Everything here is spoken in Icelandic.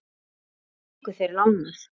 En hvað fengu þeir lánað?